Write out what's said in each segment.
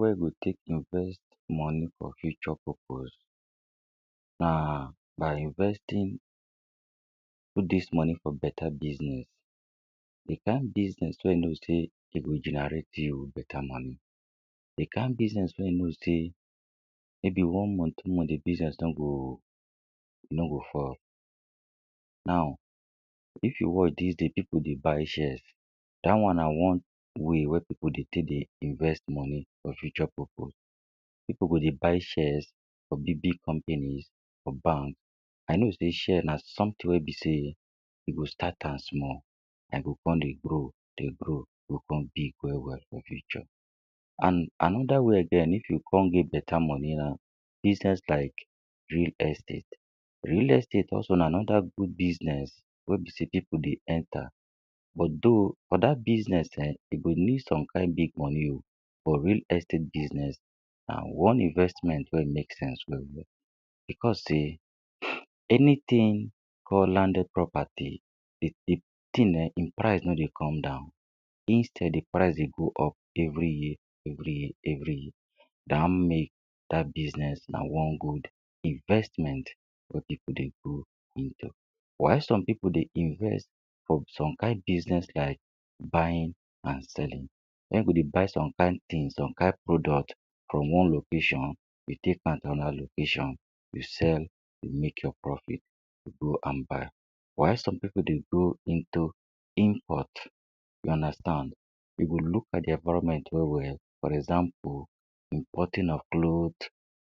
wey de take invest money for future purpose na by investing put dis money for betta business ,di kind business wey you no sey e go generate you with betta money, di kind business wey you no sey may be one month two month di business no go no go fold, now if you watch these days pipu de buy shares dat one na one way wey pipu dey tell dey invest money for future purpose. Pipu go de buy shares for big-big companies, for banks, i no sey shares na something wey be sey e go start am small, I go con dey grow, dey grow e go come become big well-well for future. An another way again if you come get betta money na business like real estate. Real estate also na another good business wey be sey pipu de enter but though, for dat business[um]e go need some kine big money o for real estate business na one investment wey e make sense very well. Becos sey anything for landed property um e thing na im price no dey come down, instead di price de go of every year every year every year. Da im make dat bussiness na one good investment for pipu dey go into. Why some pipu dey invests for some kind business like buying and selling. Where you de buy some fine things or kind product from one location to take for another location to sell to make your profit go an buy. Why some pipu dey go into import you understand, you go look at di environment well-well for example importing of cloth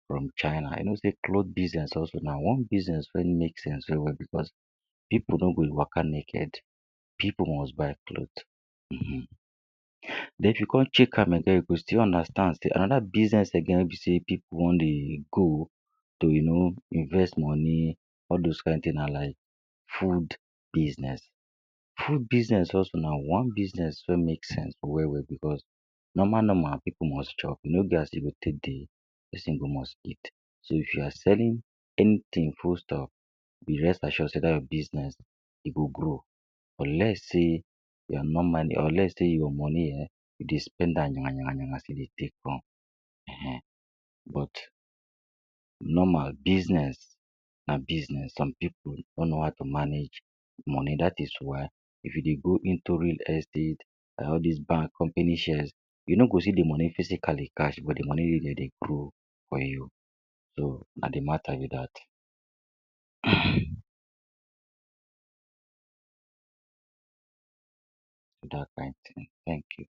from china, i no sey cloth business also na one business wey e make sense well-well becos pipu no go e waka naked, pipul most buy cloth, um. Den if you come check am again you go still understand. Another business again wey be sey pipu wan de go, dey uno invest money all those kind thing na like food business. Food business also na one business wey make sense well-well becos nomal-nomal pipu most chop you no get as e go take dey person go must eat. So if you are selling anything food stuff you rest assure sey dat your bussiness e go grow unless sey you are no man or let’s say your money e you de spend am yamayama as e dey take come um but nomal bussiness na business some pipu no know how to manage money, dat is why if you de go into real estate all dis bank, company shares, you no go see di money physically cash but the money go dey grow for you. So na di matta be dat, Dat kind thing. Thank you.